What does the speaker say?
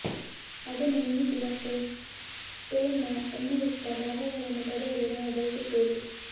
ಅದನ್ನು ನೆನೆಸಿ ಮತ್ತು ಸ್ಟೇನ್ ನ ಎಣ್ಣೆಯುಕ್ತ ಭಾಗಗಳನ್ನು ಪಡೆಯಲು ನಾವು ಬಯಸುತ್ತೇವೆ